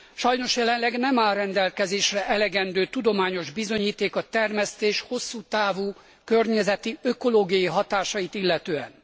Sajnos jelenleg nem áll rendelkezésre elegendő tudományos bizonyíték a termesztés hosszú távú környezeti, ökológiai hatásait illetően.